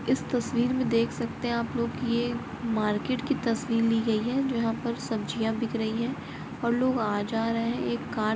इस तस्वीर में देख सकते है आप लोग कि ये मार्केट की तस्वीर ली गई है जो जहाँ पर सब्जियाँ बिक रही है और लोग आ जा रहे हैं एक कार--